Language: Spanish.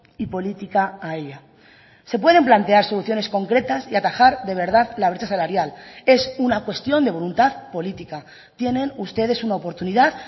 y política a ella se pueden plantear soluciones concretas y atajar de verdad la brecha salarial es una cuestión de voluntad política tienen ustedes una oportunidad